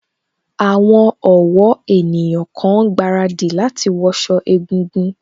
Àwọn ọ̀wọ́ ènìyàn kan ń gbaradì láti wọ sọ egúngún